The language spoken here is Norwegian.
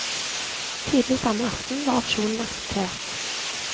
Tidlig samme aften var opsjonen akseptert.